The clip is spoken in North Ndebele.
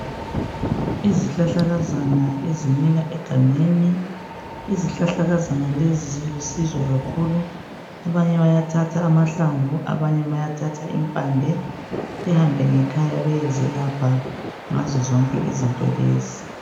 Izihlahlakaza ezimila egangeni, izihlahlakazana lezi zilusizo kakhulu . Abanye bayathatha amahlamvu,. Abanye bayathatha imphande. Behambe ngekhaya bayezelapha ngazo zonke izinto lezi.